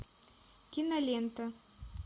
кинолента